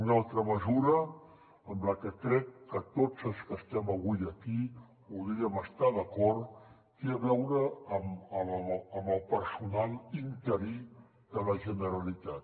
una altra mesura amb la que crec que tots els que estem avui aquí podríem estar d’acord té a veure amb el personal interí de la generalitat